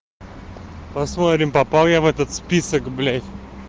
посмотрим попал я в этот список блять